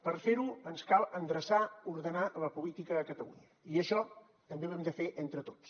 per fer ho ens cal endreçar ordenar la política a catalunya i això també ho hem de fer entre tots